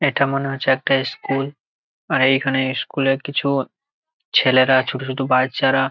ইটা মনে হচ্ছে একটা স্কুল আর এইখানে স্কুলের কিছু ছেলেরা ছোটো ছোটো বাচ্চারা--